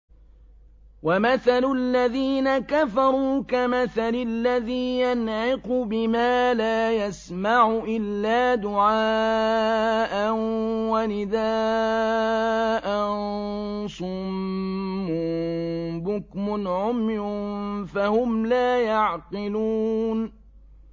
وَمَثَلُ الَّذِينَ كَفَرُوا كَمَثَلِ الَّذِي يَنْعِقُ بِمَا لَا يَسْمَعُ إِلَّا دُعَاءً وَنِدَاءً ۚ صُمٌّ بُكْمٌ عُمْيٌ فَهُمْ لَا يَعْقِلُونَ